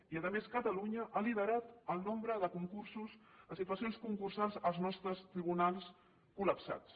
i a més catalunya ha liderat el nombre de concursos les situacions concursals als nostres tribunals col·lapsats